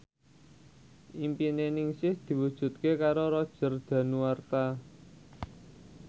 impine Ningsih diwujudke karo Roger Danuarta